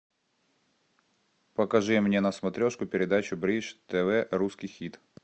покажи мне на смотрешке передачу бридж тв русский хит